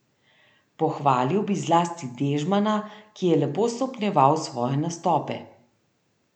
Pohvalil bi zlasti Dežmana, ki je lepo stopnjeval svoje nastope.